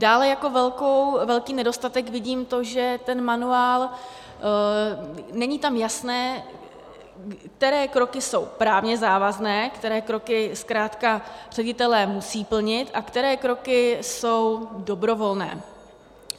Dále jako velký nedostatek vidím to, že ten manuál, není tam jasné, které kroky jsou právně závazné, které kroky zkrátka ředitelé musí plnit a které kroky jsou dobrovolné.